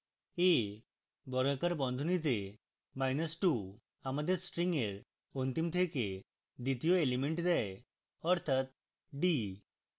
a বর্গাকার বন্ধনীতে minus two আমাদের string এর অন্তিম থেকে দ্বিতীয় element দেয় অর্থাৎ d